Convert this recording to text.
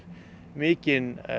mikinn